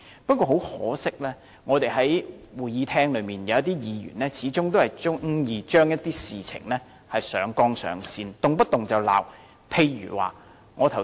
不過，很可惜，在我們的會議廳內，有些議員始終喜愛把事情上綱上線，動輒謾罵。